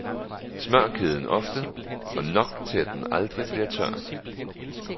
Smør kæden ofte, og nok til at den aldrig bliver tør.